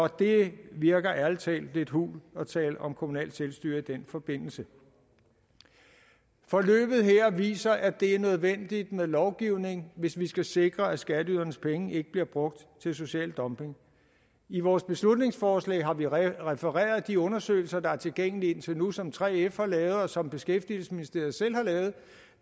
det virker ærlig talt lidt hult at tale om kommunalt selvstyre i den forbindelse forløbet her viser at det er nødvendigt med lovgivning hvis vi skal sikre at skatteydernes penge ikke bliver brugt til social dumping i vores beslutningsforslag har vi refereret de undersøgelser der er tilgængelige indtil nu som 3f har lavet og som beskæftigelsesministeriet selv har lavet